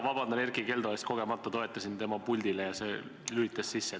Vabandan Erkki Keldo ees, ma toetusin kogemata tema puldile ja see lülitus sisse.